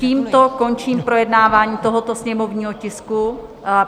Tímto končím projednávání tohoto sněmovního tisku.